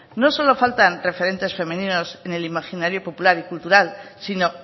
no solo faltan referentes femeninos en el imaginario popular y cultural sino